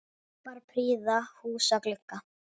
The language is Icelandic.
Kappar prýða húsa glugga.